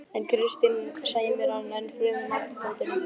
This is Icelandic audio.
En Kristín sæmir hann ennfremur nafnbótinni